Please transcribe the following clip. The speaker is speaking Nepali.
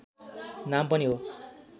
नाम पनि हो